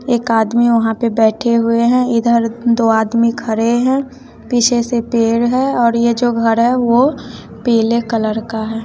एक आदमी वहां पे बैठे हुए हैं इधर दो आदमी खरे हैं पीछे से पेड़ है और यह जो घर है वो पीले कलर का है।